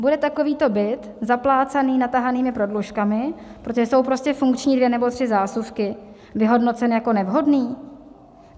Bude takovýto byt zaplácaný natahanými prodlužkami, protože jsou prostě funkční dvě nebo tři zásuvky, vyhodnocen jako nevhodný?